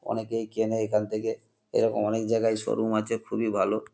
অনেকেই কেনে এখান থেকে এরকম অনেক জায়গায় শো রুম আছে খুবই ভালো।